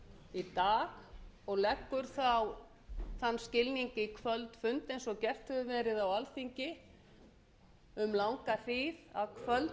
í dag og leggur þá þann skilning í kvöldfund eins og gert hefur verið á alþingi um langa hríð að kvöldfundur nær